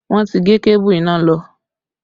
Wọn ti gé kébù iná lọ